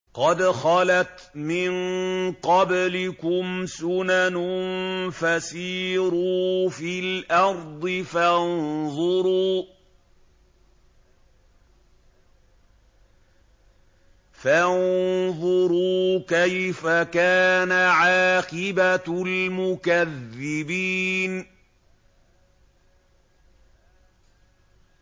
قَدْ خَلَتْ مِن قَبْلِكُمْ سُنَنٌ فَسِيرُوا فِي الْأَرْضِ فَانظُرُوا كَيْفَ كَانَ عَاقِبَةُ الْمُكَذِّبِينَ